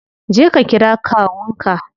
Je ka kira kawun ka.